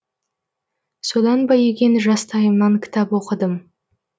содан ба екен жастайымнан кітап оқыдым